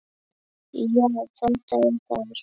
Já, þetta er þar